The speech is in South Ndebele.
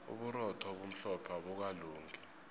uburotho obumhlophe abukalungi